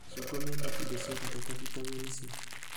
Macungwa mena indo cia bata ta bitameni C